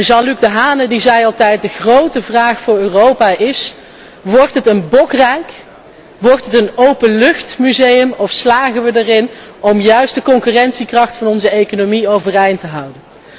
Jean Luc Dehaene zei altijd De grote vraag voor Europa is wordt het een Bokrijk, wordt het een openluchtmuseum, of slagen we erin om juist de concurrentiekracht van onze economie overeind te houden?